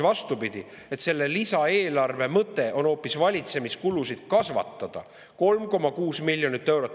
Vastupidi, selle lisaeelarve mõte on hoopis valitsemiskulusid kasvatada 3,6 miljoni euro võrra.